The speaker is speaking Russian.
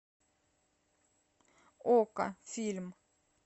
окко фильм